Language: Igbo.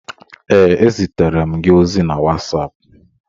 Ee, ezitere m gị ozi na WhatsApp.